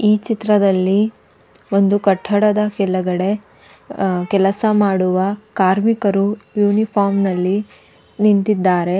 ಈ ಚಿತ್ರದಲ್ಲಿ ಒಂದು ಕಟ್ಟಡದ ಕೇಳಗಡೆ ಕೆಲಸ ಮಾಡುವ ಕಾರ್ಮಿಕರು ಯುನಿಫಾರ್ಮ್ ನಲ್ಲಿ ನಿಂತಿದ್ದಾರೆ.